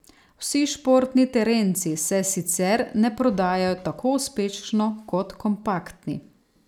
Vsi športni terenci se sicer ne prodajajo tako uspešno kot kompaktni.